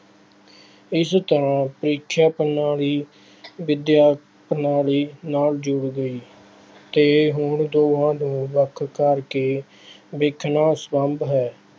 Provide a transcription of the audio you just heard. ਇਸ ਤਰ੍ਹਾਂ ਪ੍ਰੀਖਿਆ ਪ੍ਰਣਾਲੀ, ਵਿੱਦਿਆ ਪ੍ਰਣਾਲੀ ਨਾਲ ਜੁੜ ਗਈ ਅਤੇ ਹੁਣ ਦੋਹਾਂ ਨੂੰ ਵੱਖ ਕਰਕੇ ਵੇਖਣਾ ਅਸੰਭਵ ਹੈ।